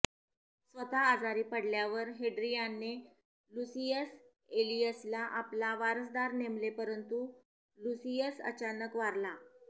स्वतः आजारी पडल्यावर हेड्रियानने लुसियस ऐलियसला आपला वारसदार नेमले परंतु लुसियस अचानक वारला